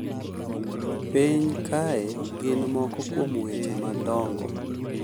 Piny kae gin moko kuom weche madongo